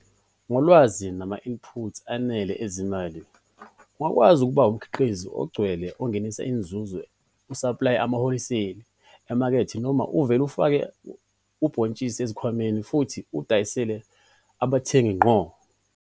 Ngolwazi nama-input anele ezimali ungakwazi ukuba umkhiqizi ogcwele ongenisa inzuzo usaplaye amahholiseyi emakethe noma uvele ufake ubhontshisi ezikhwameni futhi uwudayisele abathengi ngqo.